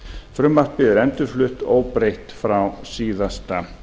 frumvarpið er endurflutt óbreytt frá síðasta